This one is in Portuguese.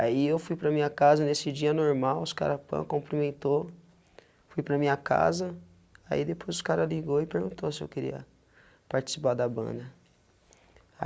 Aí eu fui para minha casa, nesse dia normal, os caras pã cumprimentou, fui para minha casa, aí depois os caras ligou e perguntou se eu queria participar da banda.